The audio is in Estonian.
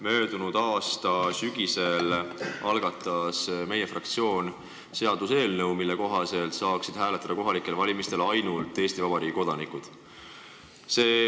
Möödunud aasta sügisel algatas meie fraktsioon seaduseelnõu, mille kohaselt saanuksid kohalikel valimistel hääletada ainult Eesti Vabariigi kodanikud.